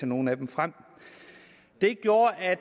nogle af dem frem det gjorde at